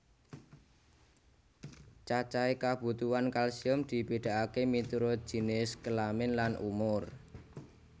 Cacahé kabutuhan kalsium dibedakaké miturut jinis kelamin lan umur